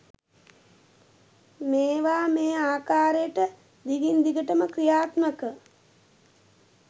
මේවා මේ ආකාරයට දිගින්දිගටම ක්‍රියාත්මක